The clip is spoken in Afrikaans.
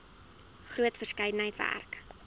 groot verskeidenheid werk